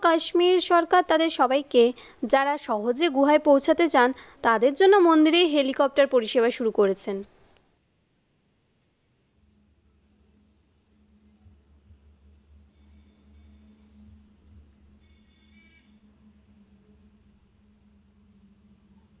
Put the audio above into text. কাশ্মীর সরকার তাদের সবাই কে যারা সহজে গুহায় পৌঁছাতে চান তাদের জন্য মন্দিরে helicopter পরিষেবা শুরু করেছেন?